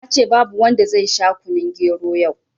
Nace babu wanda zai sha kunun gero yau